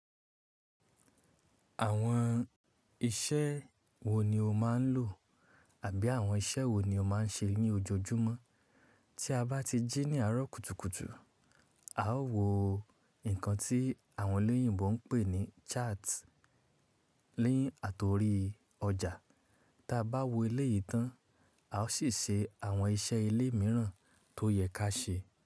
Àwọn iṣẹ́ wo ni o máa ń lò àbí àwọn iṣẹ́ wo ni o máa ń ṣe ní ojoojúmọ́? Tí a bá ti jí ní àárọ̀ kùtùkùtù, a ó wo nǹkan tí àwọn olóyìnbo ń pè ní chart ni àtorí ọjà. Tí a bá wo eléyìí tán, a ó sì ṣe àwọn iṣẹ́ ilé mìíràn tó yẹ ká ṣe.